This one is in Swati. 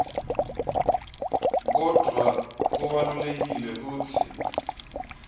kodvwa kubalulekile kutsi